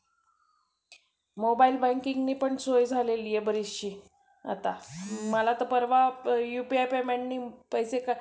mobile banking ने पण सोय झालेली आहे बरीचशी. आता मला तर UPI payment ने पैसे